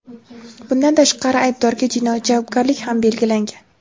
bundan tashqari aybdorga jinoiy javobgarlik ham belgilangan.